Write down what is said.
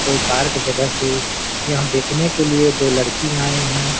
और पार्क जगह से यहाँ देखने के लिए दो लड़की आयी हैं ।